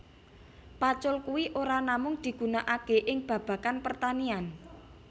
Pacul kui ora namung digunakaké ing babagan pertanian